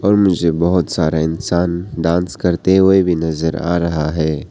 मुझे बहोत सारे इंसान डांस करते हुए भी नजर आ रहा है।